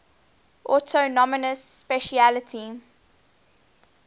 autonomous specialty